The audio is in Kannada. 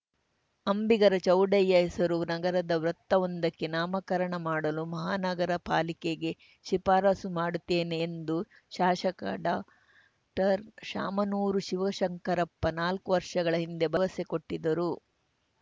ಅಂಬಿಗರ ಚೌಡಯ್ಯ ಹೆಸರು ನಗರದ ವೃತ್ತವೊಂದಕ್ಕೆ ನಾಮಕರಣ ಮಾಡಲು ಮಹಾನಗರ ಪಾಲಿಕೆಗೆ ಶಿಫಾರಸ್ಸು ಮಾಡುತ್ತೇನೆ ಎಂದು ಶಾಸಕ ಡಾಕ್ಟರ್ಶಾಮನೂರು ಶಿವಶಂಕರಪ್ಪ ನಾಲ್ಕು ವರ್ಷಗಳ ಹಿಂದೆ ಭರವಸೆ ಕೊಟ್ಟಿದ್ದರು